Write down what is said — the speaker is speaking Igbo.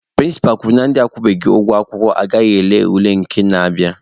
Prịnsịpa kwuru na ndị akwụbeghị ụgwọ akwụkwọ agaghị ele ule nke na-abịanụ.